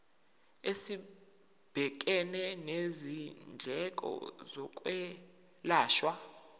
esibhekene nezindleko zokwelashwa